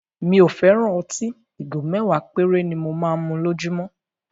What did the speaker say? Mi ò fẹ́ràn ọtí; Ìgò mẹ́wàá péré ni mo máa ń mu lójúmọ́.